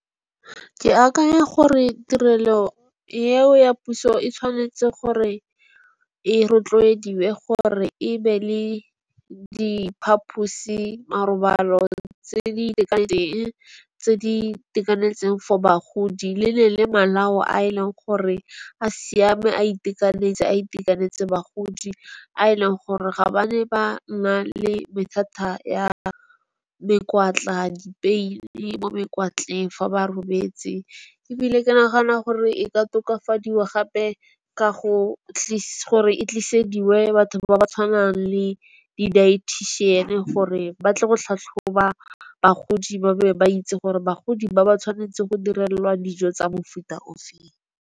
Ke akanya gore tirelo eo ya puso e tshwanetse gore e rotloediwe gore ebe le diphaposi marobalo tse di itekanetseng tse di itekanetseng for bagodi. Le le le malao a eleng gore a siame a itekanetse a itekanetse bagodi, a e leng gore ga ba ne ba na le mathata ya dipeini mo mekwatleng fa ba robetse. Ebile ke nagana gore e ka tokafadiwa gape ka go tlisa kore e tlise dingwe batho ba ba tshwanang le di dietician. Gore ba tle go tlhatlhoba bagodi ba be ba itse gore bagodi ba ba tshwanetse go direlwa dijo tsa mofuta ofe.